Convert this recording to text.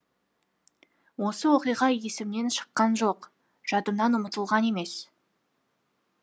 осы оқиға есімнен шыққан жоқ жадымнан ұмытылған емес